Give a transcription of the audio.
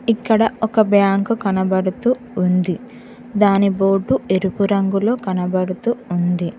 ఇక్కడ ఒక బ్యాంకు కనబడుతూ ఉంది దాని బోర్డు ఎరుపు రంగులో కనబడుతు ఉంది.